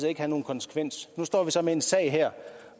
ikke havde nogen konsekvens nu står vi så med en sag her